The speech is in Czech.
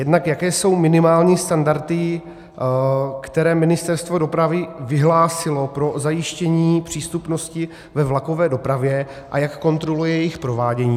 Jednak jaké jsou minimální standardy, které Ministerstvo dopravy vyhlásilo pro zajištění přístupnosti ve vlakové dopravě, a jak kontroluje jejich provádění.